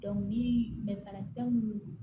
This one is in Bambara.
ni banakisɛ minnu